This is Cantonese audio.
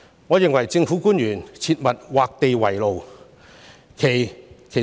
我認為政府官員切勿畫地為牢。